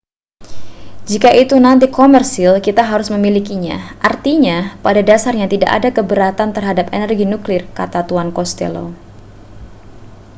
jika itu nanti komersil kita harus memilikinya artinya pada dasarnya tidak ada keberatan terhadap energi nuklir kata tuan costello